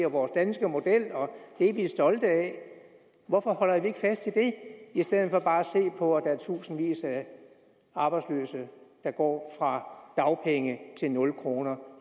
og vores danske model og det er vi stolte af hvorfor holder vi ikke fast i den i stedet for bare at se på at der er tusindvis af arbejdsløse der går fra dagpenge til nul kroner